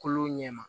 Kolo ɲɛma